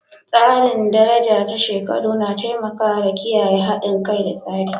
Tsarin daraja ta shekaru na taimaka da kiyayewa haɗin kai da tsari.